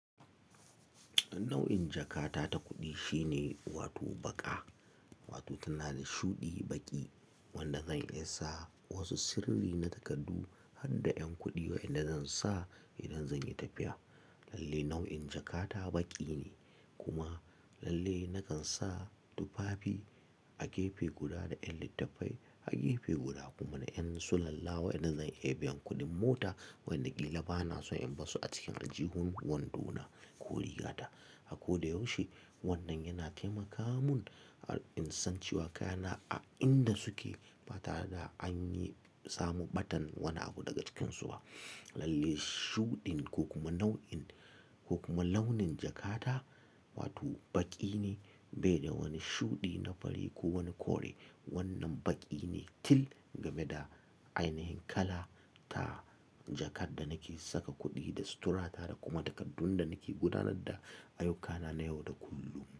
Nau'in jakata ta kuɗi shine wato baƙa, wato tana da shuɗi baƙi wanda zan iya sa wasu sirri na takardu har da 'yan kuɗi wa'inda zan sa idan zan yi tafiya. Lalle nau'in jakata baƙi ne kuma lalle nakan sa tufafi a gefe guda da 'yan littattafai a gefe guda kuma na 'yan sulalla wa'inda zan iya biyan kuɗin mota wa'inda ƙila bana son in basu a cikin ajihun wando na ko rigata. Ako da yaushe wannan yana taimaka mun a in san cewa kayana a inda suke ba tare da an yi samu ɓatan wani abu daga cikinsu ba. Lalle shuɗin ko kuma nau'in ko kuma launin jakata wato baƙi ne bai da wani shuɗi na fari ko wani kore. Wannan baƙi ne til game da ainihin kala ta jakar da nake saka kuɗi da suturata da kuma takardun da nake gudanar da ayyukana na yau da kullum.